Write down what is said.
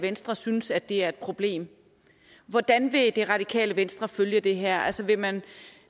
venstre synes at det er et problem hvordan vil det radikale venstre følge det her altså vil man